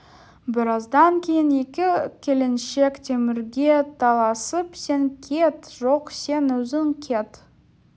біраздан кейін екі келіншек темірге таласып сен кет жоқ сен өзің кет